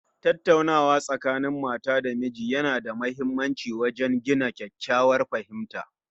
Tattaunawa Tsakanin Mata da miji Yana da muhimmanci wajen gina kyakkyawar fahimta